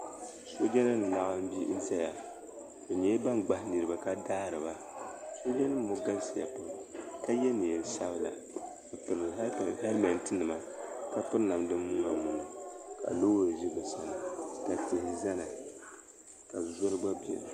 Sooja nima n laɣim zaya bɛ nyɛla ban gbahi niriba ka daariba sooja nima ŋɔ galisiya pam ka ye niɛn'sabla m pili helimenti mima ka piri namda muna muna ka loori ʒi bɛ sani ka tihi zaya ka zoli gba biɛni.